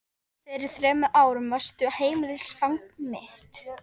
Fyrir þremur árum varstu heimilisfang mitt.